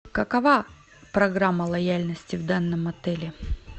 какова программа лояльности в данном отеле